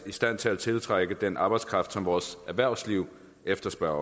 i stand til at tiltrække den arbejdskraft som vores erhvervsliv efterspørger